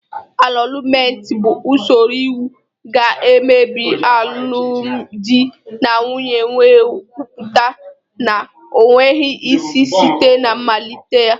Anọlụmetị bụ usoro iwu ga-emebi alụmdi na nwunye wee kwupụta na o nweghị isi site na mmalite ya.